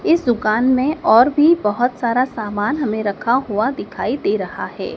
इस दुकान मे और भी बहोत सारा सामान हमे रखा हुआ दिखाई दे रहा है।